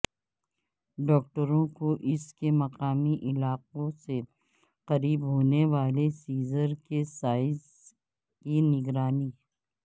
ڈاکٹروں کو اس کے مقامی علاقوں سے قریب ہونے والے سیزر کے سائز کی نگرانی